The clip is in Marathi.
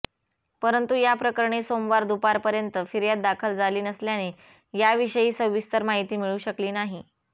परंतु याप्रकरणी सोमवार दुपारपर्यंत फिर्याद दाखल झाली नसल्याने याविषयी सविस्तर माहिती मिळू शकली नाही